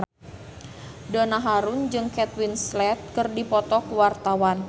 Donna Harun jeung Kate Winslet keur dipoto ku wartawan